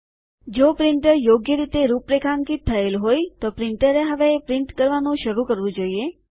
જો પ્રિન્ટર યોગ્ય રીતે રૂપરેખાંકિત થયેલ હોય તો પ્રિન્ટરએ હવે છાપવાનું શરૂ કરવું જોઈએ